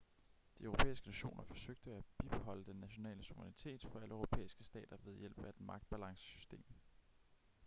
de europæiske nationer forsøgte at bibeholde den nationale suverænitet for alle europæiske stater ved hjælp af et magtbalancesystem